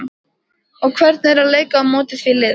og hvernig er að leika á móti því liði?